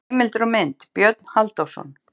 Heimildir og mynd: Björn Halldórsson.